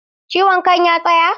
Ciwon kan ya tsaya?